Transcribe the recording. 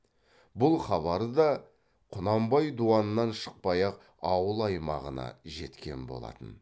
бұл хабары да құнанбай дуаннан шықпай ақ ауыл аймағына жеткен болатын